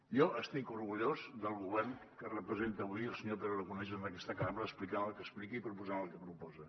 jo estic orgullós del govern que representa avui el senyor pere aragonès en aquesta cambra explicant el que explica i proposant el que proposa